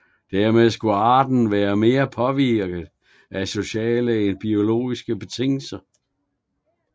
Dermed skulle arten være mere påvirket af sociale end af biologiske betingelser